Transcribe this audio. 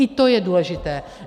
I to je důležité.